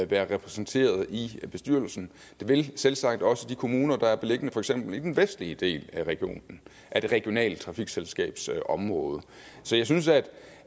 være repræsenteret i bestyrelsen det vil selvsagt også de kommuner der er beliggende for eksempel i den vestlige del af det regionale trafikselskabs område så jeg synes at